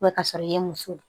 ka sɔrɔ i ye muso ye